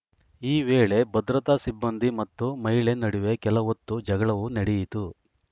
ಈ ವೇಳೆ ಭದ್ರತಾ ಸಿಬ್ಬಂದಿ ಮತ್ತು ಮಹಿಳೆ ನಡುವೆ ಕೆಲಹೊತ್ತು ಜಗಳವೂ ನಡೆಯಿತು